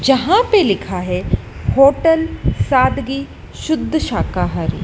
जहां पे लिखा है होटल सादगी शुद्ध शाकाहारी।